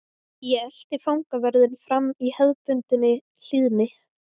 Ég elti fangavörðinn fram í hefðbundinni hlýðni.